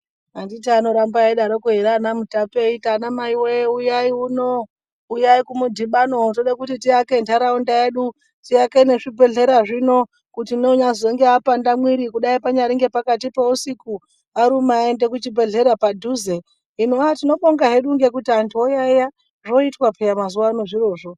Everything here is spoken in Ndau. Anditi anoramba eidaroko ere anaMutape eiti anamai we uyayi uno , uyayi kumudhibano toda kuti tiwake ntaraunda yedu tiake nezvibhedhlera zvino kuti unonyazonge apanda mwiri kudai panyaringe pakati peusiku , aruma aende kuchibhendhleya padhuze hino , tinobonga hedu ngekuti antu oyaeya zvoitwa peya mazuva ano zvirozvo .